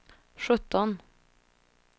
sjutton